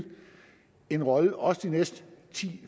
en rolle også de næste ti